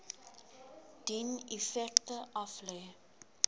dien effekte aflê